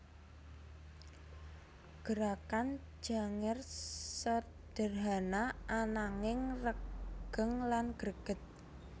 Gerakan Janger sederhana ananging regeng lan greget